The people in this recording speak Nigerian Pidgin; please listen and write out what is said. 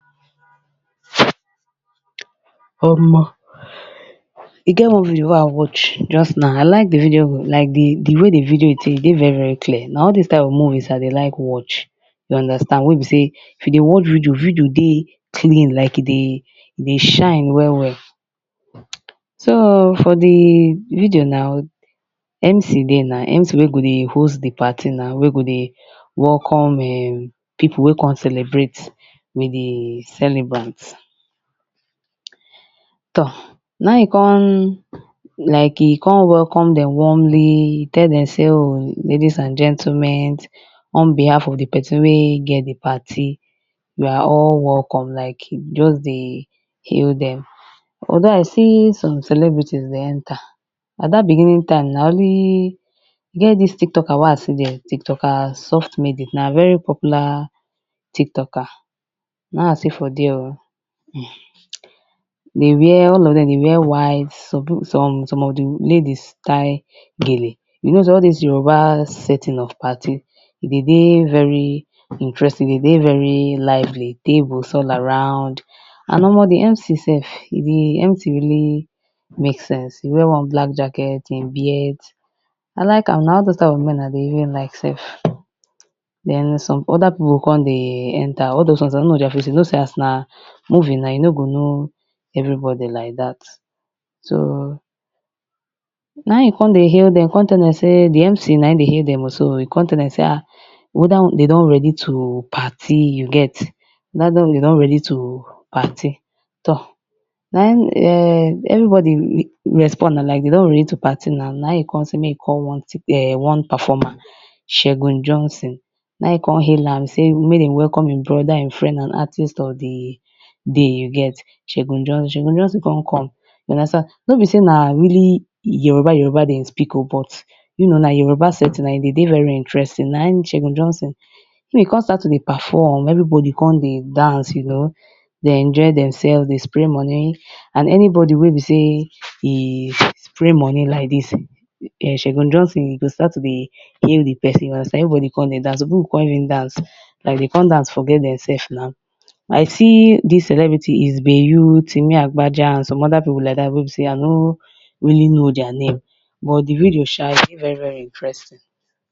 Omor e get one video wen I watch just now I like di video like di way wey di video dey e dey very very clear, na all doz kind of movie I dey like watch, you understand wey be sey if you dey watch video, video dey clean like e dey e dey shine well well so for di video na, MC dey na, MC wey go dey host di party na, wey go dey welcome [urn] people wey come celebrate with di celebrant. Toor na im e come like e come welcome dem warmly tell dem sey ladies and gentleman, on behalf of di person wey get di party you are all well, like e just dey hail dem. Although I see some celebrities dem dey enter, for dat beginning time na only, e get dis tiktoker wey I see thee, tiktoker softlady na very popular tiktoker na im I see for there or, dey wear all of dem they wear white some people, some of di ladies tie gele, you know all doz Yoruba setting of party, e dey dey very interesting e dey dey very lively, tables all around and omor di MC sef di MC really make sense, e wear one black jacket, im beards I like am na all doz type of men sef I dey even like sef, den some oda people come dey enter, some sef I nor know their face, doz ones na movie na you no go know everybody like dat so na im in come dey hail dem, come tell dem sey, di MC na im dey hail dem so oh, e come tell dem sey ah, whether dem don ready to party you get ask dem whetehr dem don ready to party toor, na im [urn] every body respond na like dem don ready to pary na, na im e come sey make e come one tik [urn] one performer Segun Johnson na im e cme hail am sey make dem welcome in brother, in friend and artist of di day you get Segun Johnson, Segun Johnson come come you understand, nor be sey na really Yoruba Yoruba dem dey speak oh, but you know na Yoruba setting na e dey dey very interesting na im Segun Johnson e come start to dey perform everybody come dey dance, you know dey enjoy dem sef, dey spray money and anybody wey be sey e spray money like did, Segun Johnson go start to dey hail di person, you understand everybody come start to dance, some people come really dance, like dem come dance like dem come dance forget dem sef na, I see dis celebrity its been you Timi Agbaja and some oda people like dat wey be sey I no really know their name but di video sha dey very very intresting.